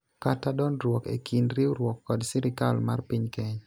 kata dondruok e kind riwruok kod sirikal mar piny Kenya